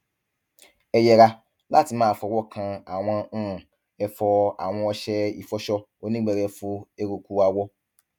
ẹ yẹra láti máa fọwọ kan àwọn um ẹfọ awọn ọṣẹ ìfọṣọ onígbẹrẹfu eruku awọ